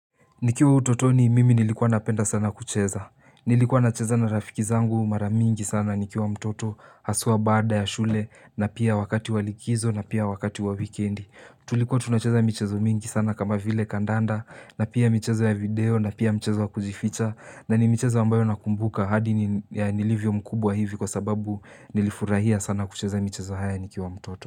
Nikiwa utotoni mimi nilikuwa napenda sana kucheza. Nilikuwa nacheza na rafiki zangu maramingi sana nikiwa mtoto haswa baada ya shule na pia wakati walikizo na pia wakati wa weekendi. Tulikuwa tunacheza mchezo mingi sana kama vile kandanda na pia michezo ya video na pia mchezo wa kujificha na ni michezo ambayo nakumbuka hadi nilivyo mkubwa hivi kwa sababu nilifurahia sana kucheza michezo haya nikiwa mtoto.